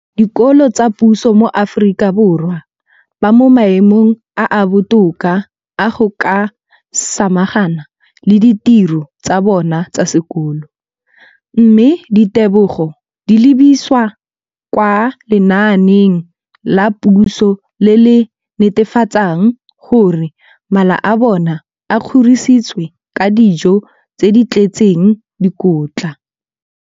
Dikolo tsa puso mo Aforika Borwa ba mo maemong a a botoka a go ka samagana le ditiro tsa bona tsa sekolo, mme ditebogo di lebisiwa kwa lenaaneng la puso le le netefatsang gore mala a bona a kgorisitswe ka dijo tse di tletseng dikotla.